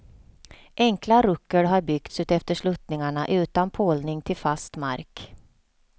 Enkla ruckel har byggts utefter sluttningarna utan pålning till fast mark.